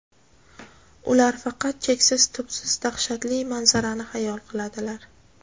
Ular faqat cheksiz tubsiz daxshatli manzarani hayol qiladilar.